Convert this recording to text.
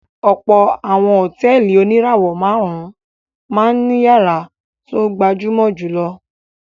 Ọ̀pọ̀ àwọn hòtẹ́ẹ́lì oníràwọ̀-márùn-ún máa ń ìyàrá tó gbajúmọ̀ jù lọ.